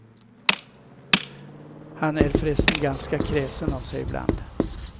Han är förresten ganska kräsen av sig ibland.